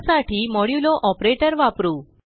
त्यासाठी modulo operator वापरू